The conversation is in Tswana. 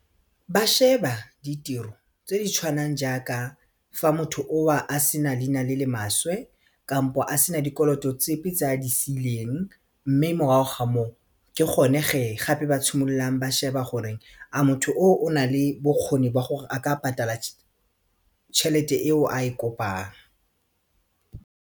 Ba sheba ditiro tse di tshwanang jaaka fa motho owa a sena leina le le mašwe kampo a sena dikoloto tsepe tse a di siileng mme morago ga moo go ke gone ge gape ba simololang ba sheba gore a motho o nale bokgoni ba gore a ka patala tšhelete eo a e kopang.